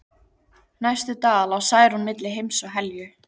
Næstu daga lá Særún milli heims og helju.